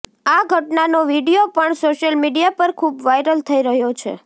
આ ઘટનાનો વીડિયો પણ સોશિયલ મીડિયા પર ખુબ વાઇરલ થઇ રહ્યો છે